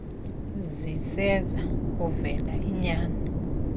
ziseza kuvela iinyani